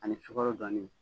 Ani sukɔrɔ gannen.